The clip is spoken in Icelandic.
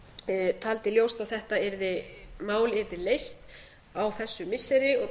svía taldi ljóst að þetta mál yrði leyst á þessu missiri